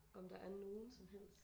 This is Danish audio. Om der er nogen som helst